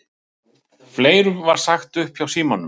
Fleirum var sagt upp á Símanum